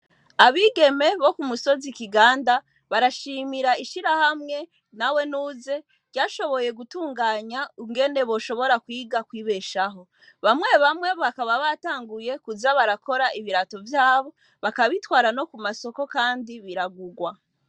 Abigeme bo ku musozi Kiganda barashimira ishirahamwe "nawe nuze" ryashoboye gutunganya ingene boshobora kwiga kwibeshaho, bamwe bamwe bakaba batanguye kuza barakora ibirato vyabo bakabitwara no ku masoko kandi biragurwa.